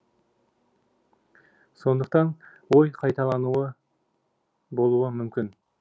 сондықтан ой қайталануы болуы мүмкін